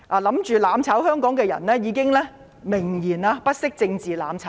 企圖"攬炒"香港的人已經明言，不惜政治"攬炒"。